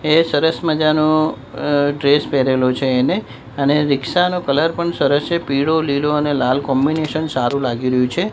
એ સરસ મજાનો અ ડ્રેસ પેરેલો છે એને અને રીક્ષા નો કલર પણ સરસ છે પીળો લીલો અને લાલ કોમ્બિનેશન સારું લાગી રહ્યું છે.